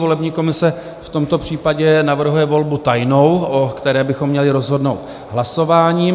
Volební komise v tomto případě navrhuje volbu tajnou, o které bychom měli rozhodnout hlasováním.